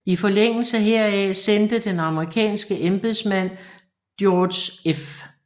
I forlængelse heraf sendte den amerikanske embedsmand George F